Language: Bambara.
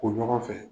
Ko ɲɔgɔn fɛ